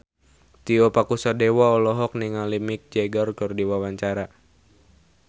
Tio Pakusadewo olohok ningali Mick Jagger keur diwawancara